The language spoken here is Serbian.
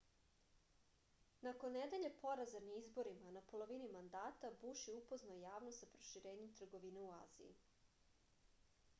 nakon nedelje poraza na izborima na polovini mandata buš je upoznao javnost sa proširenjem trgovine u aziji